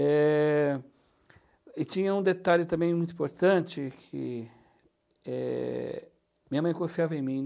Eh... e tinha um detalhe também muito importante, que, eh, minha mãe confiava em mim.